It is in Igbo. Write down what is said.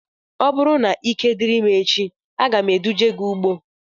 Ọ bụrụ na ike diri m echi, aga m eduje gị ugbo